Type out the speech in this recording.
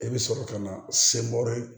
E bɛ sɔrɔ ka na se